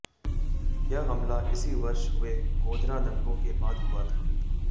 यह हमला इसी वर्ष हुए गोधरा दंगों के बाद हुआ था